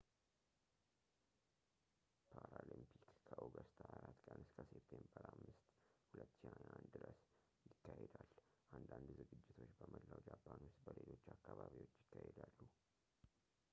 ፓራሊምፒክ ከኦገስት 24 ቀን እስከ ሴፕቴምበር 5 2021 ድረስ ይካሄዳል አንዳንድ ዝግጅቶች በመላው ጃፓን ውስጥ በሌሎች አካባቢዎች ይካሄዳሉ